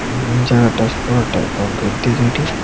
জাগাটার পুরোটা কংক্রিট দিয়ে তৈরি।